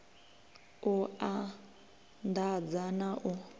u and adza na u